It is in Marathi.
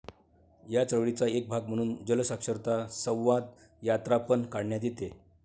या चळवळीचा एक भाग म्हणून जलसाक्षरता संवादयात्रापण काढण्यात येते.